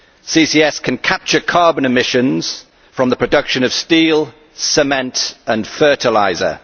CCS can capture carbon emissions from the production of steel, cement and fertiliser.